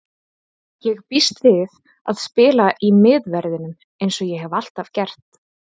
Ég býst við að spila í miðverðinum eins og ég hef alltaf gert.